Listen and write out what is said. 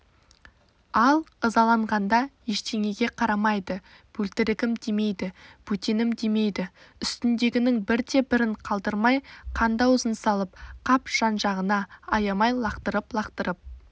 ал ызаланғанда ештеңеге қарамайды бөлтірігім демейді бөтенім демейді үстіндегінің бірде-бірін қалдырмай қанды ауызын салып қап жан-жағына аямай лақтырып-лақтырып